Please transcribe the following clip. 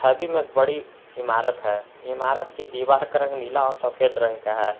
छवि में एक बड़ी इमारत है इमारत की दीवार का रंग नीला और सफेद रंग का है।